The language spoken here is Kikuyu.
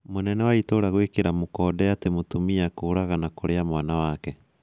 Mũnene wa itũra gũĩkĩra mũkonde atĩ mũtumia kũraga na kũrĩa mwana wake